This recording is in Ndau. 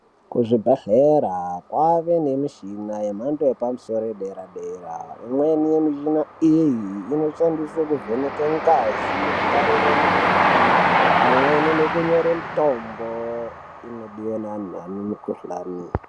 Ku zvibhedhlera kwave ne mishina ye mhando yepa musoro ye dera dera imweni mishina iyi inoshandiswa kuvheneke ngazi yeku tarire mukuhlani pamweni neku nyore mutombo inodiwa ne anhu ane mu kuhlani.